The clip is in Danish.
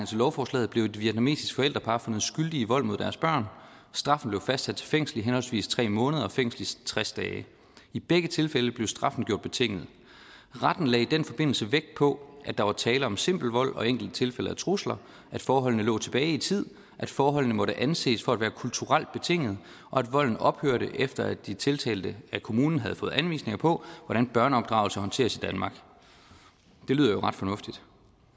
til lovforslaget blev et vietnamesisk forældrepar fundet skyldige i vold mod deres børn straffen blev fastsat til fængsel i henholdsvis tre måneder og fængsel i tres dage i begge tilfælde blev straffen gjort betinget retten lagde i den forbindelse vægt på at der var tale om simpel vold og enkelte tilfælde af trusler at forholdene lå tilbage i tid at forholdene måtte anses for at være kulturelt betingede og at volden ophørte efter at de tiltalte af kommunen havde fået anvisninger på hvordan børneopdragelse håndteres i danmark det lyder jo ret fornuftigt